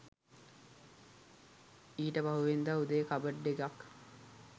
ඊට පහුවෙනිදා උදේ කබඩ් එකක්